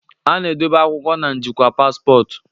a na-edobe akwụkwọ na njikwa paspọtụ